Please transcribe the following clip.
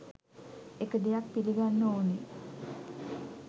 එක දෙයක් පිළිගන්න ඕන